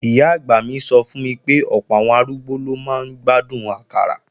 Ìyá-àgbà mi sọ fún mi pé ọ̀pọ̀ àwọn arúgbó ló máa ń gbádùn àkàrà